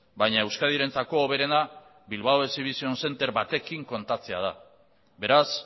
baina euskadirentzako hoberena bilbao exhibition centre batekin kontatzea da beraz